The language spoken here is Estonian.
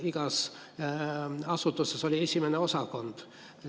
Igas asutuses oli 1. osakond.